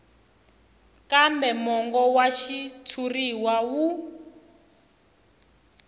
kambe mongo wa xitshuriwa wu